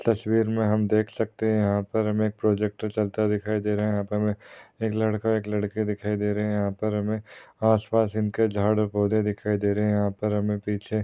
तस्वीर में हम देख सकते है यहाँ पर हमे प्रोजेक्टर चलता हुआ दिखाई दे रहा है यहाँ पर हमे एक लड़का एक लड़की दिखाई दे रहे है यहाँ पर हमे आसपास इनके झाड और पौधे दिखाई दे रहे है यहाँ पर हमे पीछे --